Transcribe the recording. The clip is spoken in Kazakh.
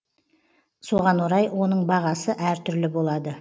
соған орай оның бағасы әртүрлі болады